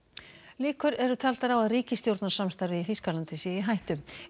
líkur eru taldar á að ríkisstjórnarsamstarfið í Þýskalandi sé í hættu